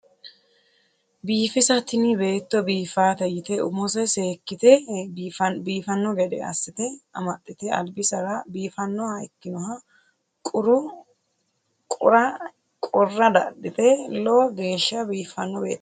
Biifisa tini beetto biifate yite umose seekkite biifanno gede assite amaxxite albisera biifannoha ikkinoha qurra dadhite lowo geeshsha biiffanno beettooti